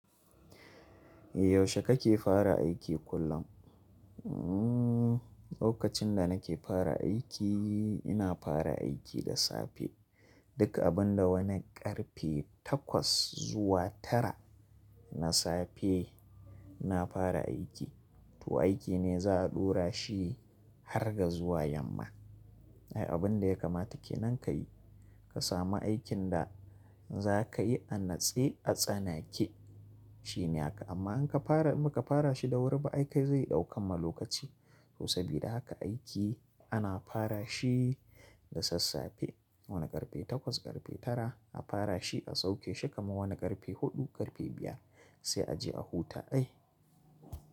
Yaushe kake fara aiki kullum? Lokacin da nake fara aiki, ina fara aiki da safe. Duk abun da wani ƙarfe takwas zuwa tara na safe ina fara aiki. To aiki ne za a ɗora shi har ga zuwa yamma. Abin da ya kamata ke nan ka yi. Ka samu aikin da za ka yi a natse a tsanake shine haka. Amma in ka fara muka fara shi da wuri ba, aiki zai ɗauka ma lokaci. To sabida haka aiki ana fara shi da sassafe wani ƙarfe takwas ƙarfe tara a fara shi a sauke shi kamar wani ƙarfe huɗu ƙarfe biyar sai a je a huta dai.